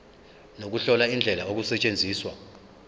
nokuhlola indlela okusetshenzwa